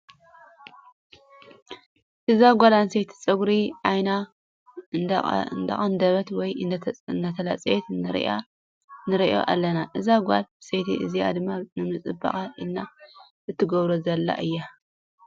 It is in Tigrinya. እዛ ጓል አንስተይቲ ፀጉሪ ዓይና እንዳተቀደበት ወይ እዳተላፀየት ንርኢኣ ኣለና ። እዛ ጓለ ኣንስተይቲ እዚኣ ድማ ንምፅባቅ ኢላ እትገብሮ ዘላ እዩ።